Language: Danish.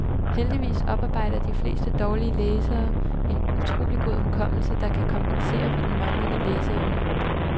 Heldigvis oparbejder de fleste dårligere læsere en utrolig god hukommelse, der kan kompensere for den manglende læseevne.